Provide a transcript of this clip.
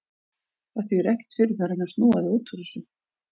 Það þýðir ekkert fyrir þig að reyna að snúa þig út úr þessu.